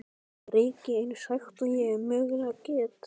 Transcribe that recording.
Ég reyki eins hægt og ég mögulega get.